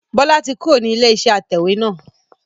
Bọlá tí kúrò ní ilé iṣẹ́ atẹ̀wẹ́ náà